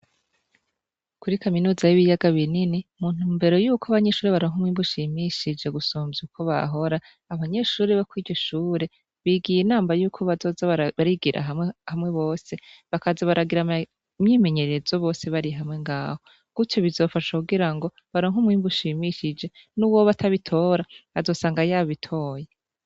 Kuri kaminuza y' Ibiyaga Binini, mu ntumbero yuko abanyeshuri baronka umwimbu ushimishije gusumvya ukwo vyahora, abanyeshure bo kw'iryo shure, bigiye inama ko bazoza bigira hamwe bose, bakaza baragira imyimenyerezo bose bari kumwe ngaho. Gutyo bizofasha kugirango baronke umwimbu ushimishije, nuwoba atabitora, azosanga yabitiye.